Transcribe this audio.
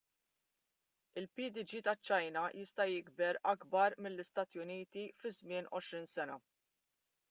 il-pdg taċ-ċina jista' jiġi akbar mill-istati uniti fi żmien għoxrin sena